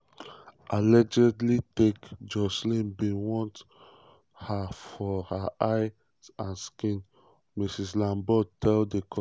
[allegedly take] joshlin bin want her for her eyes and skin" ms lombaard tell di court.